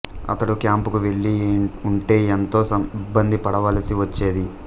అతడు క్యాంపుకు వెళ్లి ఉంటే ఎంతో ఇబ్బంది పడవలసి వచ్చేది